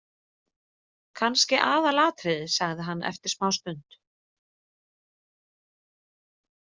Kannski aðalatriðið, sagði hann eftir smástund.